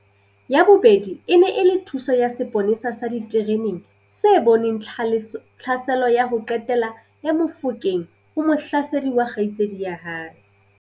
Ya bobedi e ne e le thuso ya seponesa sa ditereneng se boneng tlhaselo ya ho qetela ya Mofokeng ho mohlasedi wa kgaitsedi ya hae.